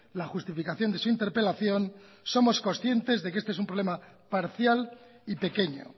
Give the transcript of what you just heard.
la justificación de su interpelación somos conscientes de que este es un problema parcial y pequeño